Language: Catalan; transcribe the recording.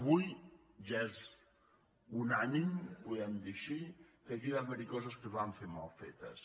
avui ja és unànime ho podem dir així que aquí van haver·hi coses que es van fer mal fetes